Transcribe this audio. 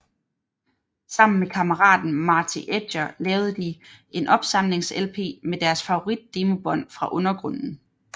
Sammen med kammeraten Marty Edger lavede de en opsamlings lp med deres favorit demobånd fra undergrunden